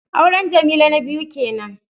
Auren Jamila na biyu kenan